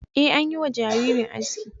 Ee, an yi wa jaririn aski.